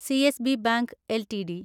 CSB bank LTD